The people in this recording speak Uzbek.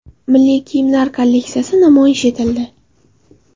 Milliy kiyimlar kolleksiyasi namoyish etildi.